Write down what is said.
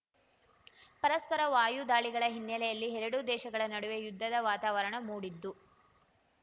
ಪರಸ್ಪರ ವಾಯು ದಾಳಿಗಳ ಹಿನ್ನೆಲೆಯಲ್ಲಿ ಎರಡೂ ದೇಶಗಳ ನಡುವೆ ಯುದ್ಧದ ವಾತಾವರಣ ಮೂಡಿದ್ದು